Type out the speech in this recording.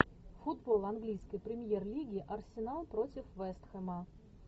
футбол английской премьер лиги арсенал против вест хэма